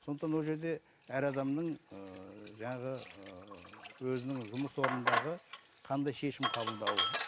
сондықтан ол жерде әр адамның ыыы жаңағы ыыы өзінің жұмыс орнындағы қандай шешім қабылдауы